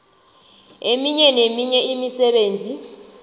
eminye neminye imisebenzi